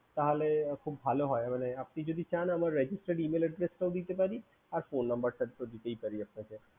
তাহলে খুব ভালো হয় আপনি যদি চান আমার registered Email address টাও দিতে পারি আর phone number টা তো দিতেই পারি আপনাকে